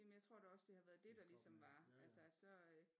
Jamen jeg tror da også det har været det der ligesom var altså så øh